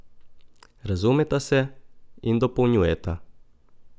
Razumeta se in dopolnjujeta.